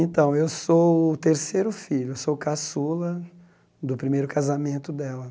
Então, eu sou o terceiro filho, eu sou caçula do primeiro casamento dela.